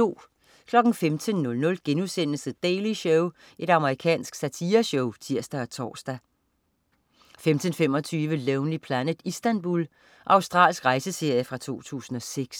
15.00 The Daily Show.* Amerikansk satireshow (tirs-tors) 15.25 Lonely Planet: Istanbul. Australsk rejseserie fra 2006